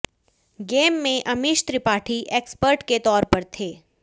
game में Amish Tripathi expert के तौर पर थे